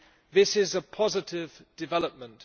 this is a positive development.